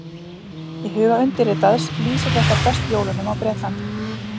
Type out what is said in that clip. í huga undirritaðs lýsir þetta best jólunum á bretlandi